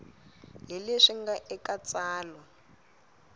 hi leswi nga eka tsalwa